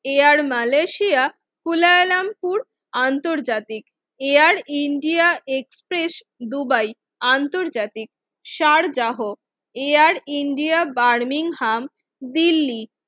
air Malaysia Kuala Lumpur আন্তর্জাতিক, Air India Express Dubai আন্তর্জাতিক, Sharjah Air India Birmingham Delhi